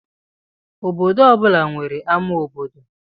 Obodo ọ bụla nwere ámá obodo